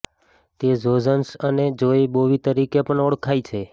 તે ઝો ઝોન્સ અને જોય બોવી તરીકે પણ ઓળખાય છે